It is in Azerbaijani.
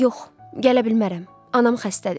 Yox, gələ bilmərəm, anam xəstədir.